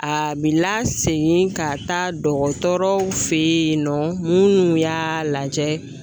A bi lasegin ka taa dɔgɔtɔrɔw fe yen nɔ munnu y'a lajɛ